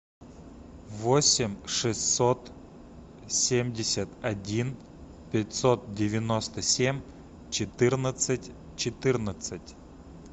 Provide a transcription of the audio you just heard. восемь шестьсот семьдесят один пятьсот девяносто семь четырнадцать четырнадцать